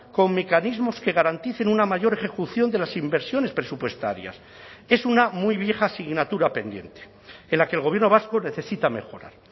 con mecanismos que garanticen una mayor ejecución de las inversiones presupuestarias es una muy vieja asignatura pendiente en la que el gobierno vasco necesita mejorar